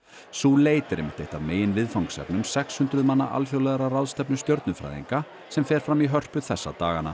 sú leit er einmitt eitt af meginviðfangsefnum sex hundruð manna alþjóðlegrar ráðstefnu stjörnufræðinga sem fer fram í Hörpu þessa dagana